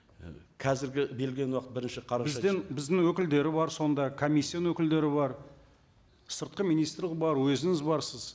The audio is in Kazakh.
і қазіргі берілген уақыт бірінші қараша бізден біздің өкілдер бар сонда комиссияның өкілдері бар сыртқы министрлік бар өзіңіз барсыз